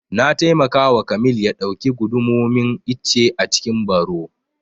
Na taimaka wa kamil ya ɗauki gundumomin icce a cikin baro